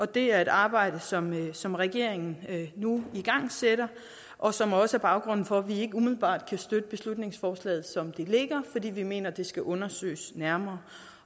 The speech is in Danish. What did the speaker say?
det er et arbejde som som regeringen nu igangsætter og som også er baggrunden for at vi ikke umiddelbart kan støtte beslutningsforslaget som det ligger fordi vi mener at det skal undersøges nærmere